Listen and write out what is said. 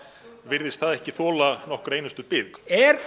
virðist það ekki þola nokkra einustu bið er